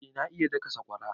Eh na iya daka sakwara